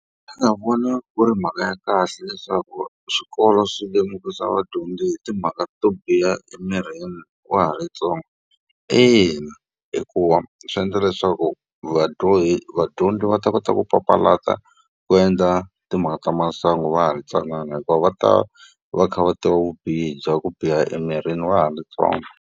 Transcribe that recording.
Xana u vona ku ri mhaka ya kahle leswaku swikolo swi lemukisa vadyondzi hi timhaka to biha emirini wa ha ri ntsongo? Ina hikuva swi endla leswaku ku vadyondzi va ta kota ku papalata ku endla timhaka ta masangu va ha ri ntsanana hikuva va ta va va kha va tiva vubihi bya ku biha emirini va ha ri ntsongo.